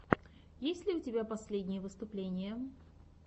есть ли у тебя последние выступления